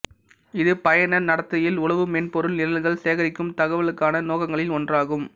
இது பயனர் நடத்தையில் உளவு மென்பொருள் நிரல்கள் சேகரிக்கும் தகவலுக்கான நோக்கங்களில் ஒன்றாகும்